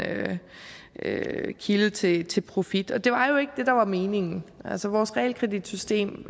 kilde til til profit det var jo ikke det der var meningen vores realkreditsystem